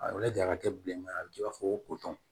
A lajɛ a ka kɛ bilenman ye a bɛ kɛ i b'a fɔ ko tɔn